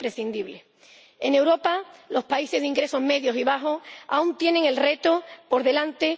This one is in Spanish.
En Europa, los países de ingresos medios y bajos aún tienen el reto por delante.